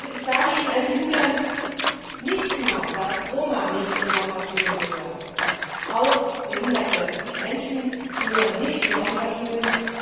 Ich sage Ihnen als Linke nicht nur, dass Roma nicht in Sonderschulen gehören, auch behinderte Menschen gehören nicht in Sonderschulen.